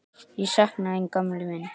Ég sakna þín gamli minn.